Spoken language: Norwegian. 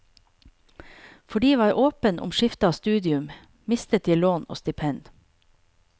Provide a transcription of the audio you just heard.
Fordi jeg var åpen om skifte av studium, mistet jeg lån og stipend.